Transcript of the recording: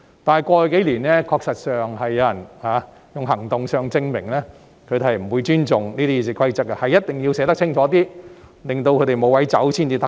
但是，在過去數年，確實有人以行動證明他們不會尊重《議事規則》，所以一定要把條文寫得清楚一些，令他們無法鑽空子。